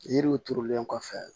Yiriw turulen kɔfɛ